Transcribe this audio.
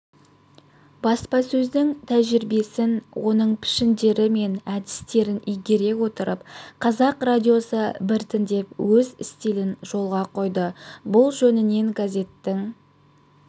баспасөздің тәжірибесін оның пішіндері мен әдістерін игере отырып қазақ радиосы біртіндеп өз стилін жолға қойды бұл жөнінен газеттің